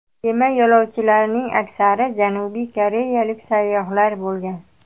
Kema yo‘lovchilarining aksari Janubiy koreyalik sayyohlar bo‘lgan.